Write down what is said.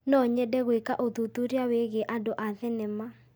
No nyende gwĩka ũthuthuria wĩgiĩ andũ a thenema.